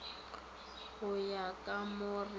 go ya ka mo re